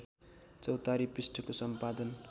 चौतारी पृष्ठको सम्पादन